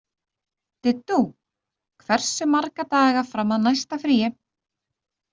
Diddú, hversu marga daga fram að næsta fríi?